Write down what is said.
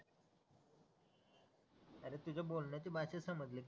अरे तुझ्या बोलण्याच्या भाषेत समजलं कि